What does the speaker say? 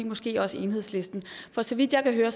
måske også enhedslisten for så vidt jeg kan høre